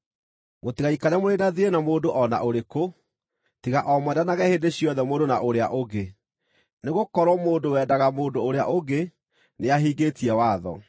Mũtigaikare mũrĩ na thiirĩ na mũndũ o na ũrĩkũ, tiga o mwendanage hĩndĩ ciothe mũndũ na ũrĩa ũngĩ, nĩgũkorwo mũndũ wendaga mũndũ ũrĩa ũngĩ nĩahingĩtie watho.